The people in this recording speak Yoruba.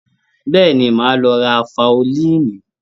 Bẹ́ẹ̀ni, màá lọ ra faolíìnì?